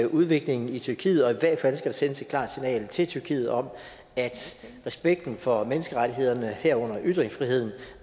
udviklingen i tyrkiet og i hvert fald skal der sendes et klart signal til tyrkiet om at respekten for menneskerettighederne herunder ytringsfriheden